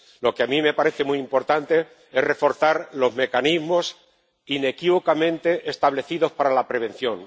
Lo que a mí me parece muy importante es reforzar los mecanismos inequívocamente establecidos para la prevención